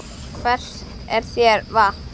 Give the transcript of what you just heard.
Hvers er þér vant, maður?